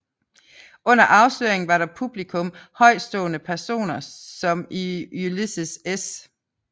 Under afsløringen var der i publikum højtstående personer som Ulysses S